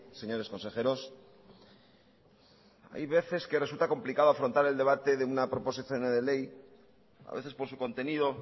señores consejeros hay veces que resulta complicado afrontar el debate de una proposición no de ley a veces por su contenido